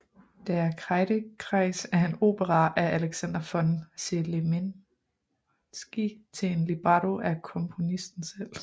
Der Kreidekreis er en opera af Alexander von Zemlinsky til en libretto af komposnisten selv